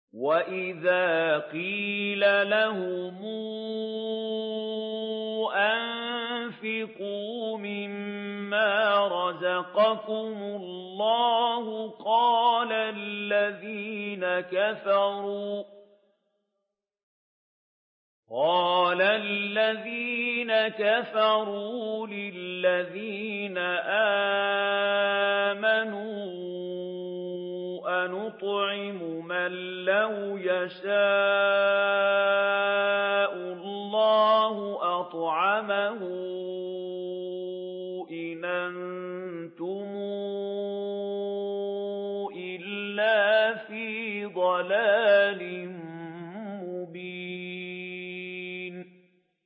وَإِذَا قِيلَ لَهُمْ أَنفِقُوا مِمَّا رَزَقَكُمُ اللَّهُ قَالَ الَّذِينَ كَفَرُوا لِلَّذِينَ آمَنُوا أَنُطْعِمُ مَن لَّوْ يَشَاءُ اللَّهُ أَطْعَمَهُ إِنْ أَنتُمْ إِلَّا فِي ضَلَالٍ مُّبِينٍ